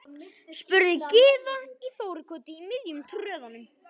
spurði Gyða í Þórukoti í miðjum tröðunum.